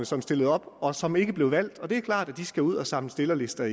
som stillede op og som ikke blev valgt og det er klart at de igen skal ud og samle stillerlister